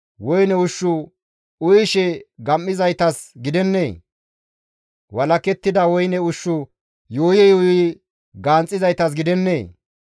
Woyne ushshu uyishe gam7izaytas gidennee? Walakettida woyne ushshu yuuyi yuuyi ganxizaytas gidennee?